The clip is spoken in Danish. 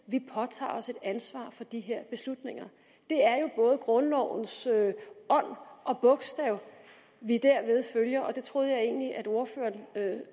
påtager os et ansvar for de her beslutninger det er jo både grundlovens ånd og bogstav vi derved følger og det troede jeg egentlig at ordføreren